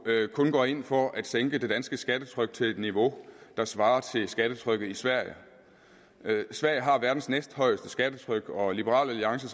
kun går ind for at sænke det danske skattetryk til et niveau der svarer til skattetrykket i sverige sverige har verdens næsthøjeste skattetryk og liberal alliance